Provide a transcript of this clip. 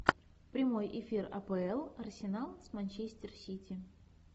прямой эфир апл арсенал с манчестер сити